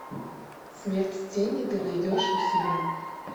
смерть тени ты найдешь у себя